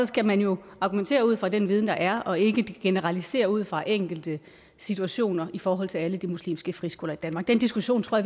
skal man jo argumentere ud fra den viden der er og ikke generalisere ud fra enkelte situationer i forhold til alle de muslimske friskoler i danmark den diskussion tror